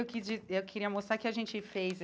Eu eu queria mostrar o que a gente fez.